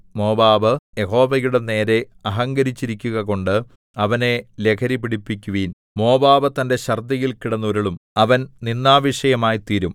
Moab യഹോവയുടെ നേരെ അഹങ്കരിച്ചിരിക്കുകകൊണ്ട് അവനെ ലഹരി പിടിപ്പിക്കുവിൻ മോവാബ് തന്റെ ഛർദ്ദിയിൽ കിടന്നുരുളും അവൻ നിന്ദാവിഷയമായിത്തീരും